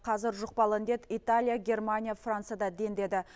қазір жұқпалы індет италия германия францияда дендеді